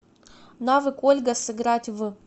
навык ольга сыграть в